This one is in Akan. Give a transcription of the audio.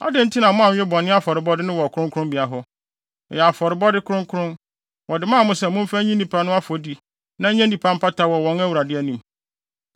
“Adɛn nti na moanwe bɔne afɔrebɔde no wɔ kronkronbea hɔ? Ɛyɛ afɔrebɔde kronkron! Wɔde maa mo sɛ momfa nyi nnipa no afɔdi na ɛnyɛ mpata mma wɔn wɔ Awurade anim.